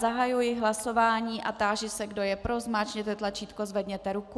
Zahajuji hlasování a táži se, kdo je pro, zmáčkněte tlačítko, zvedněte ruku.